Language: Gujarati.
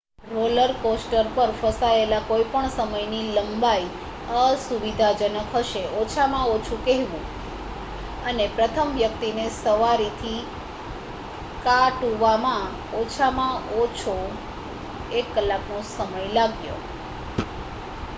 રોલર કોસ્ટર પર ફસાયેલા કોઈપણ સમયની લંબાઈ અસુવિધાજનક હશે ઓછામાં ઓછું કહેવું અને પ્રથમ વ્યક્તિને સવારીથી કા toવામાં ઓછામાં ઓછો એક કલાકનો સમય લાગ્યો